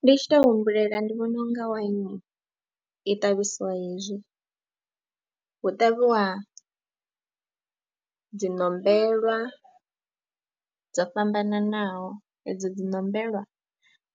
Ndi tshi tou humbulela ndi vhona u nga waini i ṱavhisiwa hezwi, hu ṱavhiwa dzi ṋombelwa dzo fhambananaho, edzo dzi ṋombelwa